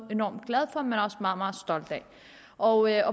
enormt glad for men også meget meget stolt af og jeg